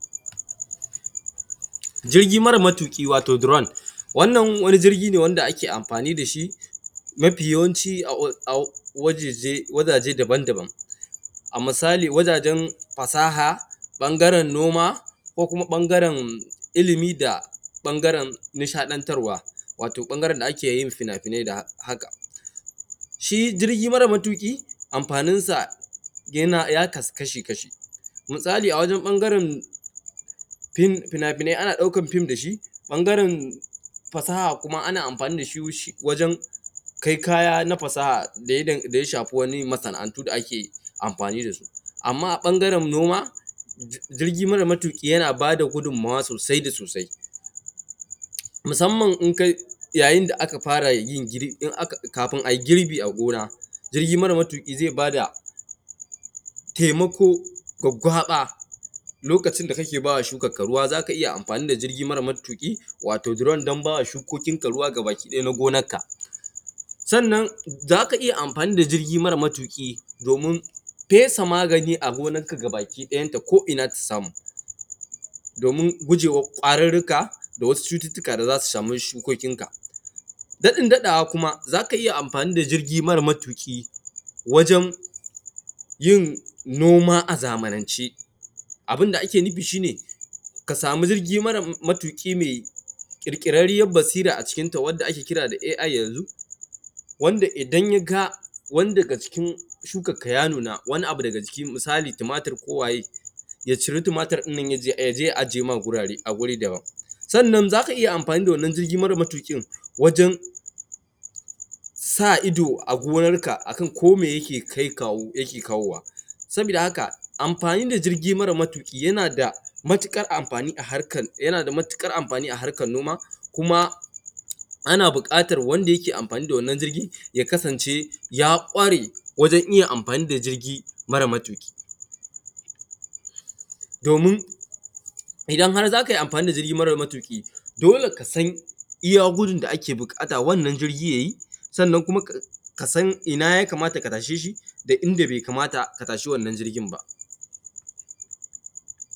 jirgi mara matuƙi wato drone wannan wani jirgi ne wanda ake amfani dashi mafi yawanci a wajeje daban-daban a misali wajajen fasaha ɓangaren noma ko kuma ɓangaren ilmi da ɓangaren nishaɗantarwa wato ɓangaren da ake yin fina-finai da haka shi jirgi mara matuƙi amfanin sa ya kasu kashi-kashi misali a wajen ɓangaren fina-finai ana ɗaukan film dashi ɓangaren fasaha kuma ana amfani dashi wajen kai kaya na fasaha daya shafi wani masana’antu da ake yi amfani dasu amman a ɓangaren noma jirgi mara matuƙi yana bada gudunmawa sosai da sosai musamman in kai yayin da aka fara yi kafin ayi girbi a gona jirgi mara matuƙi zai bada taimako gwaggwaɓa lokacin da kake bawa shukan ka ruwa zaka iya amfani da jirgi mara matuƙi wato drone don bawa shukokin ka ruwa gaba ki ɗaya na gonar ka sannan zaka iya amafani da jirgi mara matuƙi domin fesa magani a gonan ka gaba ki ɗayan ta ko ina ta samu domin gujewar ƙwarurruka da wasu cututtuka da zasu samu shukokin ka daɗin daɗawa kuma zaka iya amfani da jirgi mara matuƙi wajen yin noma a zamanance abunda ake nufi shi ne ka samu jirgi mara matuƙi mai ƙirƙirarriyar basira a cikin ta wanda ake kira da AI yanzu wanda idan yaga wani daga cikin shukar ka ta nuna ko wani abu daga jiki misali tumatir ko waye ya ciri tumatir ɗin yaje ya aje ma gurare a guri daban sannan zaka iya amfani da wannan jirgi mara matuƙin wajen sa ido a gonar ka akan ko meye yake kai kawo yake kawowa sabida haka amfani da jirgi mara matuƙi yana da matuƙar amfani a harkar noma kuma ana buƙatar wanda yake amfani da wannan jirgin ya kasance ya kware wajen iya amfani da jirgi mara matuƙi domin idan har zakai amfani da jirgi mara matuƙi dole ka san iya gudun da ake buƙata wannan jirgi yayi sannan kuma kasan ina ya kamata ka tashe shi da inda bai kamata ka tashe wannan jirgin ba